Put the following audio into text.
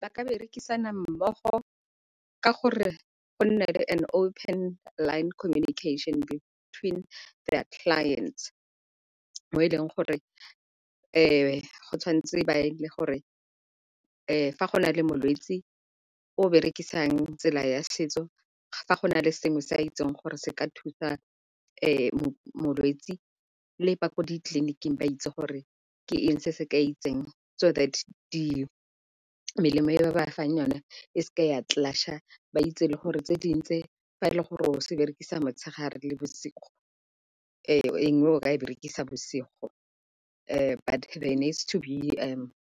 Ba ka berekisana mmogo ka gore go nne le an open line connection between their clients mo e leng gore go tshwantse ba e le gore fa go na le molwetsi o berekisang tsela ya setso, fa go na le sengwe se a itseng gore se ka thusa molwetsi le ba ko ditleliniking ba itse gore ke eng se se ka itseng. So that melemo e ba ba fa yone e seke ya clash-a ba itse le gore tse dingwe tse fa e le gore o se berekisa motshegare le bosigo e nngwe o ka e berekisa bosigo. But there needs to be